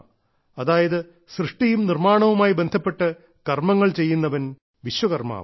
അതായത് സൃഷ്ടിയും നിർമ്മാണവുമായി ബന്ധപ്പെട്ട് കർമ്മങ്ങൾ ചെയ്യുന്നവൻ വിശ്വകർമ്മാവ്